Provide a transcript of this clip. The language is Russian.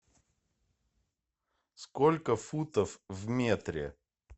сколько футов в метре